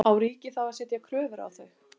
Á ríkið þá að setja kröfur á þau?